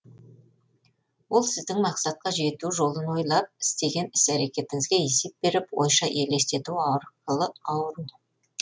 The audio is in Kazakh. ол сіздің мақсатқа жету жолын ойлап істеген іс әрекеттеріңізге есеп беріп ойша елестету арқылы ауру